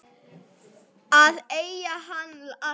Að eiga hann alltaf.